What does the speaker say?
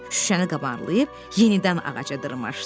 Şüşəni qabarlayıb yenidən ağaca dırmaşdı.